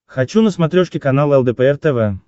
хочу на смотрешке канал лдпр тв